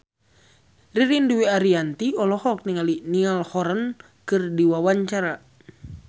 Ririn Dwi Ariyanti olohok ningali Niall Horran keur diwawancara